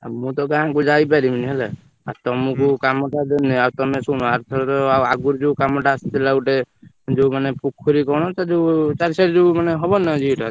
ଆଉ ମୁ ତ ଗାଁ କୁ ଯାଇପାରିବିନି ହେଲା ଆଉ ତମକୁ କାମ ଟା ଦେନି ଆଉ ତମେ ଶୁଣ ଆରଥର ଆଉ ଆଗରୁ ଯୋଉ କାମ ଟା ଆସିଥିଲା ଗୋଟେ ଯୋଉ ମାନେ ପୋଖରୀ କଣ ତ ଯୋଉ ମାନେ ହବନି ନା ଇଏ ଟା,